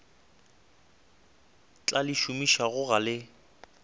tla le šomišago ga le